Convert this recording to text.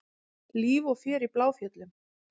Líf og fjör í Bláfjöllum